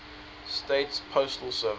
states postal service